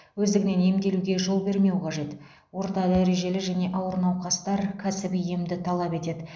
өздігінен емделуге жол бермеу қажет орта дәрежелі және ауыр науқастар кәсіби емді талап етеді